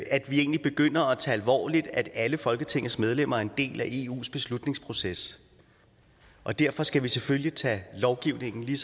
at vi egentlig begynder at tage det alvorligt at alle folketingets medlemmer er en del af eus beslutningsproces og derfor skal vi selvfølgelig tage lovgivningen lige